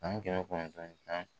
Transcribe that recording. San kɛmɛ kɔnɔntɔn ni